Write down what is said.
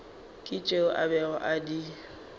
tšeo a bego a di